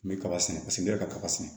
N bɛ kaba sɛnɛ paseke n yɛrɛ ka kaba sɛnɛ